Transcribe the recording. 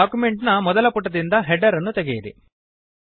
document ನ ಮೊದಲ ಪುಟದಿಂದ ಹೆಡರ್ ಅನ್ನು ತೆಗೆಯಿರಿ